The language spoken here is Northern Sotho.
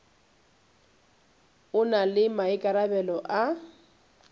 o na le maikarabelo a